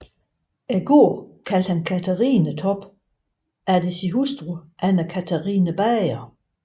Gården kaldte han Catharinetorp efter sin hustru Anna Catharina Bager